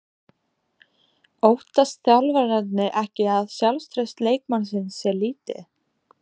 Óttast þjálfararnir ekki að sjálfstraust leikmannsins sé lítið?